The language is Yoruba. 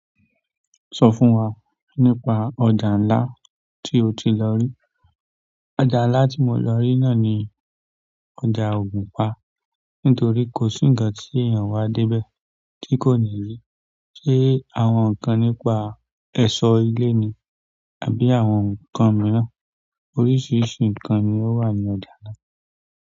Sọ fún wa nípa ọjà ńlá tí o ti lọ rí. Ọjà ńlá tí mo lọ rí náà ni ọjà ògùnpa, nítorí kò sí ǹkan tí èèyàn wá dé bẹ̀ tí kò ní rí ṣe àwọn nǹkan nípa ẹ̀ṣọ́ ilé ni àbí àwọn ǹkan mìíràn. Oríṣiríṣi nǹkan ni ó wà ní ọjà náà.